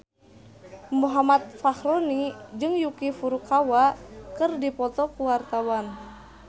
Muhammad Fachroni jeung Yuki Furukawa keur dipoto ku wartawan